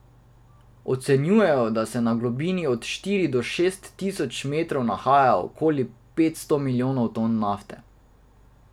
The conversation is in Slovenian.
Ocenjujejo, da se na globini od štiri do šest tisoč metrov nahaja okoli petsto milijonov ton nafte.